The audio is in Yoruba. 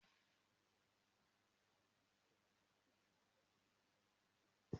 Àlọ́ ajẹmọ́-ìfẹ́ ni mo máa sọ fún ìyàwó mi ní alá yìí.